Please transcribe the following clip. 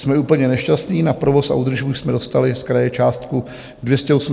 Jsme úplně nešťastní, na provoz a údržbu jsme dostali z kraje částku 280 000 korun.